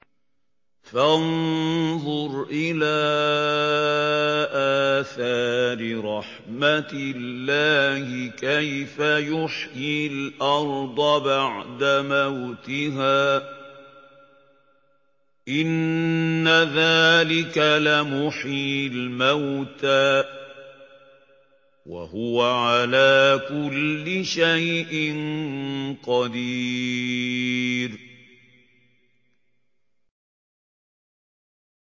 فَانظُرْ إِلَىٰ آثَارِ رَحْمَتِ اللَّهِ كَيْفَ يُحْيِي الْأَرْضَ بَعْدَ مَوْتِهَا ۚ إِنَّ ذَٰلِكَ لَمُحْيِي الْمَوْتَىٰ ۖ وَهُوَ عَلَىٰ كُلِّ شَيْءٍ قَدِيرٌ